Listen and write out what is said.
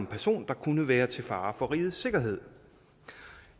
person der kunne være til fare for rigets sikkerhed